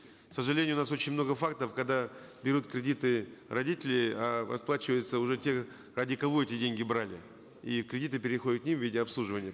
к сожалению у нас очень много фактов когда берут кредиты родители а расплачиваются уже те ради кого эти деньги брали и кредиты переходят к ним в виде обслуживания